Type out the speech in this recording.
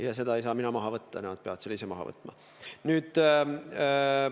Ja seda ei saa mina maha võtta, nemad peavad selle ise maha võtma.